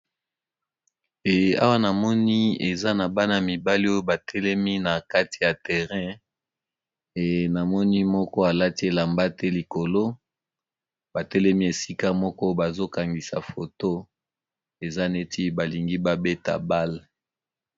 Awa namoni eza na bana mibale oyo batelemi na kati ya terrain enamoni moko alati elamba te likolo batelemi esika moko bazokangisa foto eza neti balingi babeta bale.